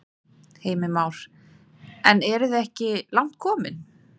Heimir Már: En eru þið ekki langt komin?